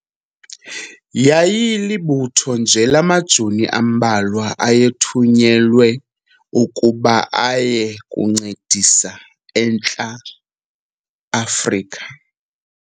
Yayilibutho nje lamajoni ambalwa ayethunyelwe ukuba aye kuncedisa eNtla Afrika.